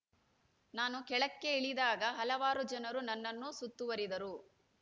ನಾನು ಕೆಳಕ್ಕೆ ಇಳಿದಾಗ ಹಲವಾರು ಜನರು ನನ್ನನ್ನು ಸುತ್ತುವರಿದರು